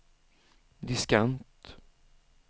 diskant